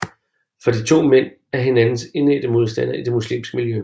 For de to mænd er hinandens indædte modstandere i det muslimske miljø